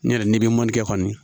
N yɛrɛ n'i bɛ mɔni kɛ kɔni